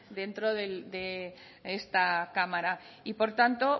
dentro de esta cámara y por tanto